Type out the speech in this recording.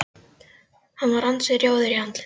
Hann var ansi rjóður í andliti.